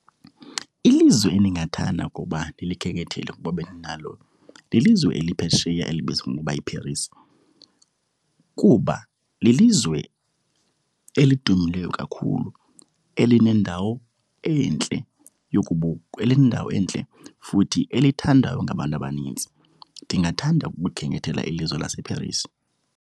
Ilizwe endingathanda ukuba ndilikhenkethele ukuba bendinalo, lilizwe eliphesheya elibizwa ngokuba yiParis kuba lilizwe elidumileyo kakhulu, elinendawo entle yokubukwa. Elinendawo entle futhi elithandaywo ngabantu abanintsi. Ndingathanda ukukhenkethela ilizwe laseParis.